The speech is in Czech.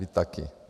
Vy také.